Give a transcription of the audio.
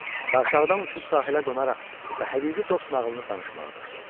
Və aşağıdan uçub sahilə qonaraq və həqiqi dost nağılını danışmağa başladı.